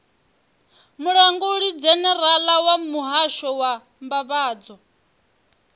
mulangulidzhenerala wa muhasho wa mbambadzo